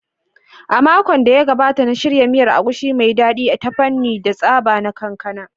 A makon da ya gabata, na shirya miyar Egusi mai daɗi ta amfani da tsaba na kankana